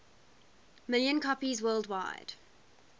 million copies worldwide